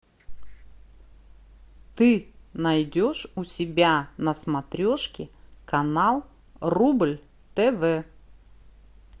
ты найдешь у себя на смотрешке канал рубль тв